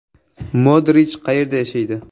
Modrich qayerda yashaydi?